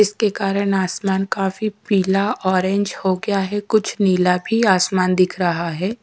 इसके कारण आसमान काफी पीला आरेंज हो गया है कुछ नीला भी आसमान दिख रहा है।